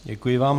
Děkuji vám.